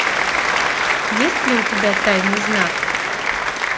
есть ли у тебя тайный знак